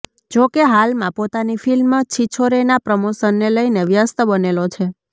જો કે હાલમાં પોતાની ફિલ્મ છિછોરેના પ્રમોશનને લઇને વ્યસ્ત બનેલો છે